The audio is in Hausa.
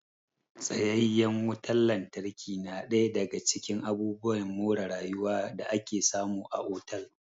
Tsayayyen wutan lantarki na ɗaya daga cikin abubuwan more rayuwa da ake samu a otal